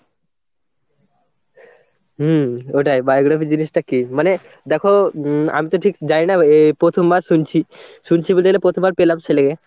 হুম ওটাই biography জিনিসটা কি? মানে দেখো উম আমি তো ঠিক জানি না এ প্রথমবার শুনছি, শুনছি বলতে গেলে প্রথমবার পেলাম সেই লেগে।